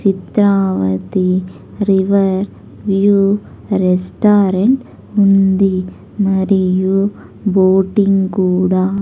Chitravati river view restaurant ఉంది మరియు boating కూడా.